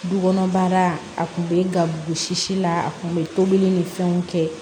Du kɔnɔ baara a kun bɛ ga gosi la a kun be tobili ni fɛnw kɛ